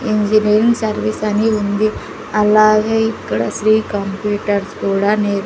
engineering service అని ఉంది అలాగే ఇక్కడ శ్రీ కంప్యూటర్స్ కూడా నేర్--